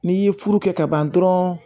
N'i ye furu kɛ kaban dɔrɔn